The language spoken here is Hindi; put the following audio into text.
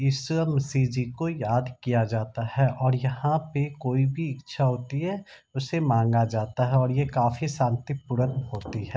इसामसी जी को याद किया जाता है और यहाँ पे कोई भी इच्छा होती है उसे मांगा जाता है और यह काफी शांतिपूरक होती है।